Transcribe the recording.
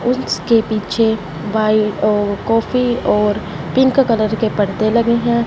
उसके पीछे बाईं ओर कॉफी और पिंक कलर के पर्दे लगे हैं।